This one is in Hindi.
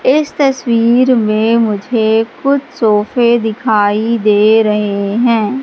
इस तस्वीर में मुझे कुछ सोफे दिखाई दे रहे हैं।